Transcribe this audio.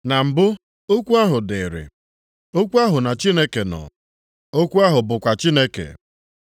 Na mbụ okwu ahụ dịrịị, okwu ahụ na Chineke nọ, okwu ahụ bụkwa Chineke.